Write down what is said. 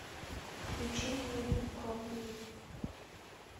включи мне букабу